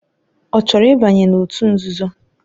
Ọ chọrọ ịbanye n'òtù nzuzo?